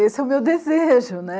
Esse é o meu desejo, né?